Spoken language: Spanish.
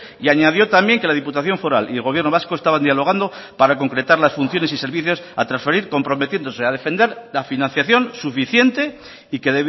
y añadió también que la diputación foral y el gobierno vasco estaban dialogando para concretar las funciones y servicios a transferir comprometiéndose a defender la financiación suficiente y que